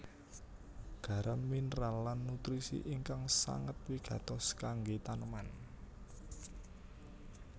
Garam mineral lan nutrisi ingkang sanget wigatos kanggé taneman